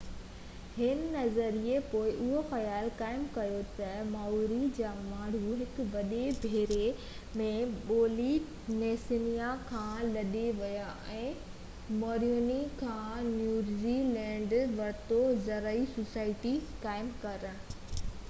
هن نظريي پوءِ اهو خيال قائم ڪيو ته مائوري جا ماڻهو هڪ وڏي ٻيڙي ۾ پولي نيسيا کان لڏي ويا ۽ موريوري کان نيوزي لينڊ ورتو زرعي سوسائٽي قائم ڪرڻ